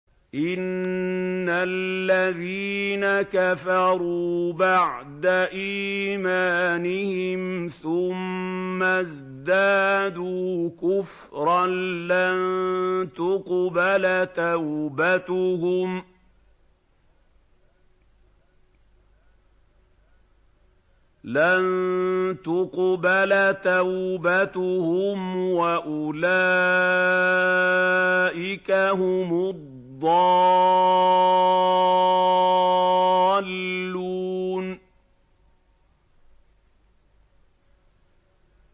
إِنَّ الَّذِينَ كَفَرُوا بَعْدَ إِيمَانِهِمْ ثُمَّ ازْدَادُوا كُفْرًا لَّن تُقْبَلَ تَوْبَتُهُمْ وَأُولَٰئِكَ هُمُ الضَّالُّونَ